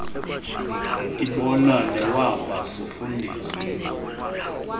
ibona newamba sifundisa